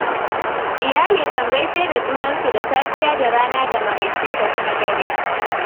Iyali kan gaishe da junansu da safiya da rana da maraice da kuma dare.